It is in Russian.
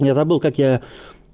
я забыл как я